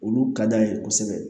Olu ka d'an ye kosɛbɛ